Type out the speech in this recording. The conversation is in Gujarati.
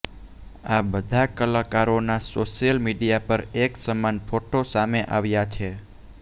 આ બધા કલાકારોના સોશ્યલ મીડિયા પર એક સમાન ફોટો સામે આવ્યા છે